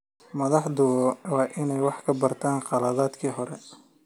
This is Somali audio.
Madaxdu waa inay wax ka bartaan khaladaadkii hore.